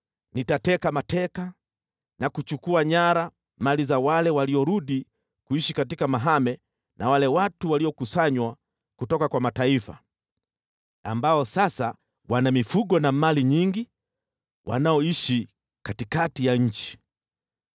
Nitateka mateka na kuchukua nyara mali za wale waliorudi kuishi katika mahame na wale watu waliokusanywa kutoka kwa mataifa, ambao sasa wana mifugo na mali nyingi, wanaoishi katikati ya nchi.”